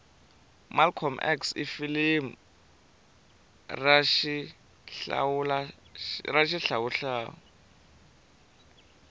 malcolm x ifilimu rashihlawuhlawu